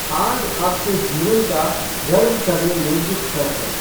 आज आपके जीवन का गर्व करने योग्य क्षण है।